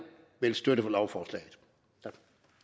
vil støtte lovforslaget tak